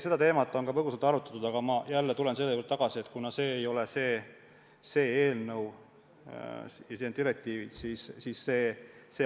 Seda teemat on ka põgusalt arutatud, aga ma jälle tulen selle juurde tagasi, et see ei ole see eelnõu, see on direktiivide ülevõtmise eelnõu.